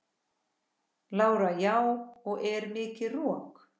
Lára: Já og er mikið rok?